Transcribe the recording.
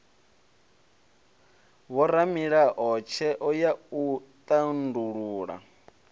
vhoramilayo tsheo ya u tandulula